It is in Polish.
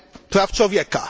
praw człowieka